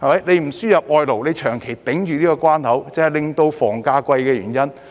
不輸入外勞，長期封掉這關口，便是導致房價高昂的原因。